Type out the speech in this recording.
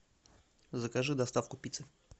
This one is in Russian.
закажи доставку пиццы